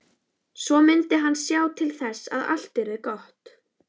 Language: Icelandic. Svo mundi hann sjá til þess að allt yrði gott.